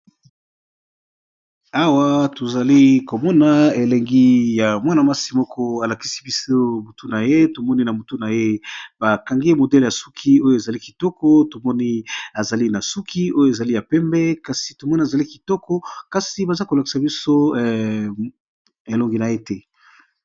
Awa tozalikomona elengi ya Mwana mwasi moko alakisi biso mutu naye tomoni bakangi suki malamu tomoni azali na suki oyo ezali ya pembe pe tozomona elongi naye te.